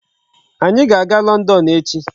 Anyị ga-aga London echi.